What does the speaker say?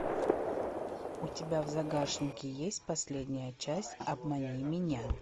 у тебя в загашнике есть последняя часть обмани меня